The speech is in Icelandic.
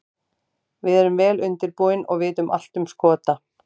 Við erum vel undirbúin og vitum allt um Skota.